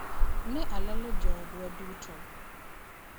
Ne alalo joodwa duto.